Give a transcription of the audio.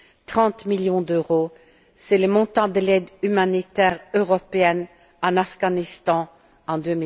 30millions d'euros c'est le montant de l'aide humanitaire européenne en Afghanistan en